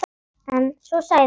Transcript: Eða svo sagði hann.